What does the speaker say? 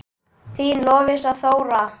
Þín Lovísa Þóra.